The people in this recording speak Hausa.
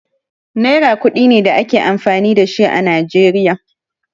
Naira ƙudi ne da ake amfani da shi a Najeriya.